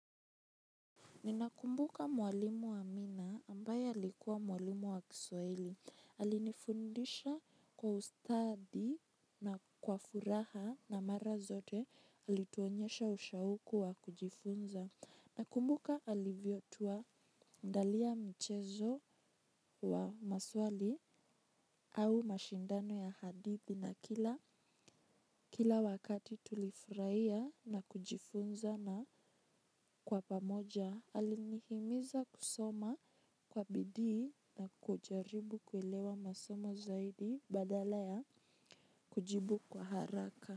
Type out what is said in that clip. Ninakumbuka mwalimu Amina ambaye alikuwa mwalimu wa Kiswahili. Alinifundisha kwa ustadi na kwa furaha na mara zote alituonyesha ushauku wa kujifunza. Nakumbuka alivyotuandalia mchezo wa maswali au mashindano ya hadithi na kila wakati tulifurahia na kujifunza na kwa pamoja. Alinihimiza kusoma kwa bidii na kujaribu kuelewa masomo zaidi badala ya kujibu kwa haraka.